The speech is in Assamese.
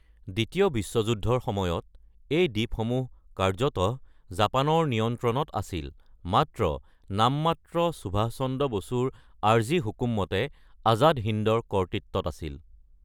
দ্বিতীয় বিশ্বযুদ্ধৰ সময়ত এই দ্বীপসমূহ কাৰ্যতঃ জাপানৰ নিয়ন্ত্ৰণত আছিল, মাত্ৰ নামমাত্ৰ সুভাষ চন্দ্ৰ বসুৰ আৰ্জী হুকুমতে আজাদ হিন্দৰ কৰ্তৃত্বত আছিল।